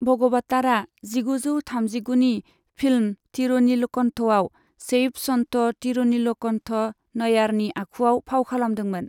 भगवतारआ जिगुजौ थामजिगुनि फिल्म 'थिरुनीलकन्ठ'आव शैव सन्त थिरुनीलकन्ठ नयनारनि आखुआव फाव खालामदोंमोन।